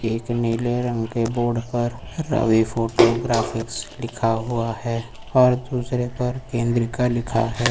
एक नीले रंग के बोर्ड पर रवि फोटोग्राफिक्स लिखा हुआ है और दूसरे पर केंद्रीका लिखा है।